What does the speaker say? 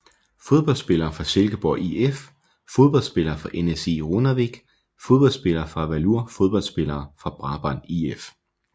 Fodboldspillere fra Silkeborg IF Fodboldspillere fra NSÍ Runavík Fodboldspillere fra Valur Fodboldspillere fra Brabrand IF